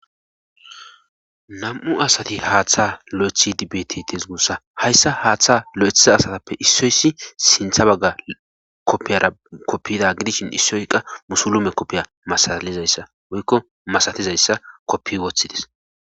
nam'u asati haaththa lo'ethidi bettes gussa hayssa haaththa lo'ethiza asatappe issoyssi sintha bagga koppiyara koppida gidishin issoy qa musulume koppiya masalizayssa woykko masatizayssa koppi woththides